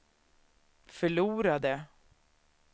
förlorade